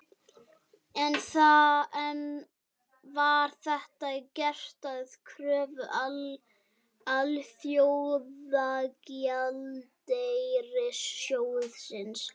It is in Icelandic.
En var þetta gert að kröfu Alþjóðagjaldeyrissjóðsins?